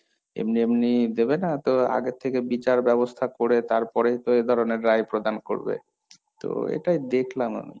এমনি এমনি দেবে না তো আগের থেকে বিচার ব্যবস্থা করে তারপরেই তো এই ধরনের রায় প্রদান করবে, তো এটাই দেখলাম আমি।